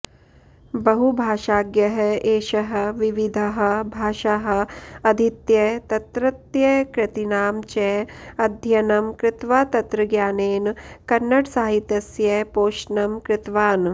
बहुभाषाज्ञः एषः विविधाः भाषाः अधीत्य तत्रत्यकृतीनां च अध्ययनं कृत्वा तत्रज्ञानेन कन्नडसाहित्यस्य पोषणं कृतवान्